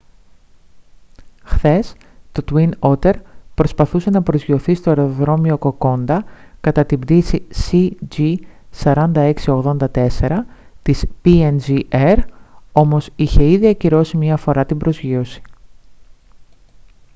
χθες το twin otter προσπαθούσε να προσγειωθεί στο αεροδρόμιο κοκόντα κατά την πτήση cg4684 της png air όμως είχε ήδη ακυρώσει μια φορά την προσγείωση